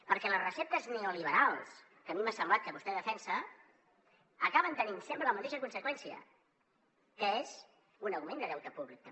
perquè les receptes neoliberals que a mi m’ha semblat que vostè defensa acaben tenint sempre la mateixa conseqüència que és un augment de deute públic també